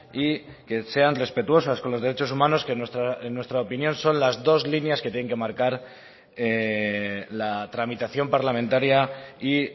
y que sean respetuosas con los derechos humanos que en nuestra opinión son las dos líneas que tienen que marcar la tramitación parlamentaria y